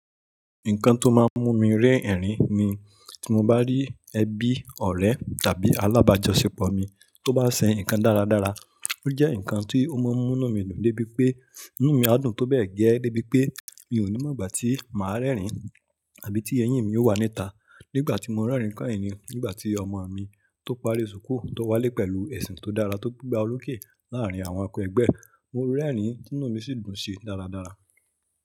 Nǹkan tó máa ń mú mi rẹ́rìn-ín ni tí mo bá rí ẹbí, ọ̀rẹ́ tàbí alábàjọ́ṣepọ̀ mi tó bá ṣe nǹkan dáradára. Ó jẹ́ nǹkan tí ó máa ń mú inu mi dùn débi pé inú mi á dùn tó bẹ́ẹ̀ gẹ́ débi pé mi ò ní mọ̀ ìgbà tí màá rẹ́rìn àbí tí eyín mi ó wà níta. Ní ìgbà tí mo rẹ́rìn keyìn ni ìgbà tí ọmọ mi tó parí ṣùkú tó wálé pẹ̀lú esi tó dára tó gbe gba oroke láàárín àwọn akẹgbẹ́ e Mo rín ẹ̀rín tí inú mi sì dùn ṣi dáradára.